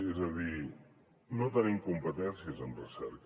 és a dir no tenim competències en recerca